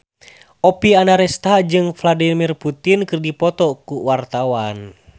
Oppie Andaresta jeung Vladimir Putin keur dipoto ku wartawan